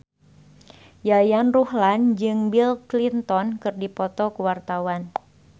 Yayan Ruhlan jeung Bill Clinton keur dipoto ku wartawan